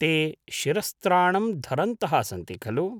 ते शिरस्त्राणं धरन्तः सन्ति खलु?